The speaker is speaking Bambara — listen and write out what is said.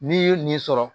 N'i ye nin sɔrɔ